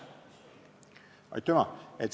Aitüma!